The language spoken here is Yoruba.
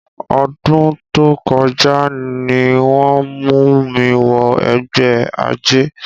Ọdún tó kọjá ni wọ́n mú mi wọ ẹgbẹ́ àjẹ́.